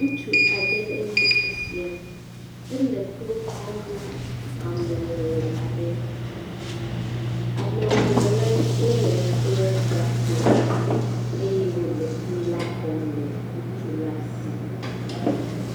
Ŋutsu aɖe nye esia, ele kplu kɔm na amewɔwɔ aɖe. Amewɔwɔ la, wowɔe kple gakpo eye wòla kplu la xɔm le ŋutsu la si.